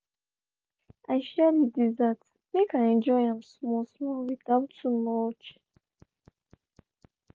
i share the dessert make i enjoy am small-small without too much.